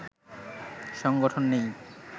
সংগঠন নেই